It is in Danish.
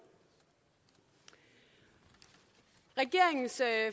i regeringens